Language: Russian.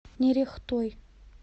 нерехтой